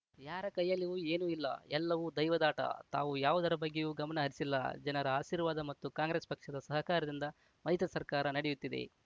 ಯಾರ ಕೈಯಲ್ಲಿಯೂ ಏನೂ ಇಲ್ಲ ಎಲ್ಲವೂ ದೈವದಾಟ ತಾವು ಯಾವುದರ ಬಗ್ಗೆಯೂ ಗಮನ ಹರಿಸಿಲ್ಲ ಜನರ ಆಶೀರ್ವಾದ ಮತ್ತು ಕಾಂಗ್ರೆಸ್‌ ಪಕ್ಷದ ಸಹಕಾರದಿಂದ ಮೈತ್ರಿಸರ್ಕಾರ ನಡೆಯುತ್ತಿದೆ